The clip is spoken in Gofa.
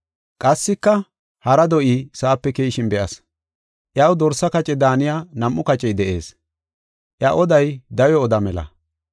Qassika, hara do7i sa7ape keyishin be7as. Iyaw dorsa kace daaniya nam7u kacey de7ees; iya oday dawe oda mela.